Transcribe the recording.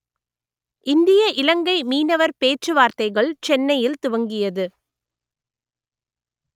இந்திய இலங்கை மீனவர் பேச்சுவார்த்தைகள் சென்னையில் துவங்கியது